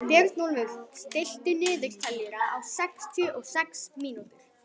Björnólfur, stilltu niðurteljara á sextíu og sex mínútur.